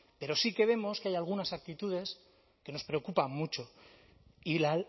pero sí que vemos que hay algunas actitudes que nos preocupan mucho y la